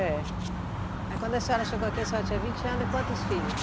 É. Aí, quando a senhora chegou aqui, a senhora tinha vinte anos e quantos filhos?